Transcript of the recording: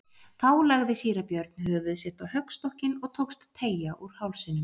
Þá lagði síra Björn höfuð sitt á höggstokkinn og tókst að teygja úr hálsinum.